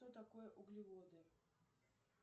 что такое углеводы